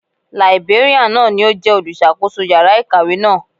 Làìbéríàn náà ni ó jẹ́ olùṣàkóso yàrá ìkàwé náà.